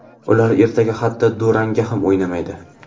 Ular ertaga hatto durangga ham o‘ynamaydi.